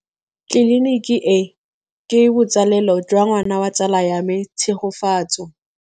Tleliniki e, ke botsalêlô jwa ngwana wa tsala ya me Tshegofatso.